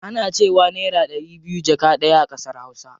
Ana cewa naira ɗari biyu jaka ɗaya a ƙasar hausa.